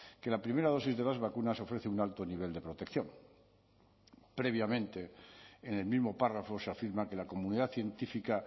que la primera dosis de las vacunas ofrece un alto nivel de protección previamente en el mismo párrafo se afirma que la comunidad científica